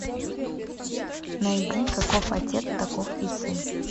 найди каков отец таков и сын